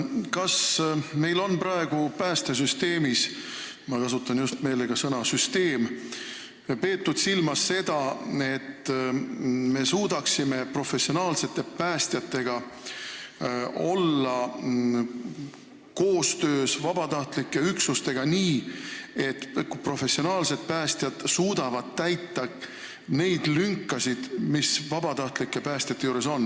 Kas meil on praegu päästesüsteemis – ma kasutan meelega sõna "süsteem" – peetud silmas seda, et professionaalsed päästjad suudaksid koostöös vabatahtlike üksustega tegutseda nii, et professionaalsed päästjad täidaksid neid lünkasid, mis vabatahtlikus päästetöös jäävad?